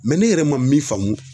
ne yɛrɛ ma min faamu